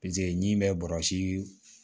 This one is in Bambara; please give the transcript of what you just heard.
ɲi bɛ bɔrɔsi